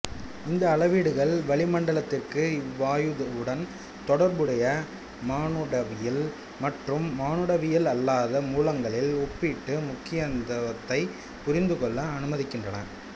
இந்த அளவீடுகள் வளிமண்டலத்திற்கு இவ்வாயுவுடன் தொடர்புடைய மானுடவியல் மற்றும் மானுடவியல் அல்லாத மூலங்களின் ஒப்பீட்டு முக்கியத்துவத்தைப் புரிந்துகொள்ள அனுமதிக்கின்றன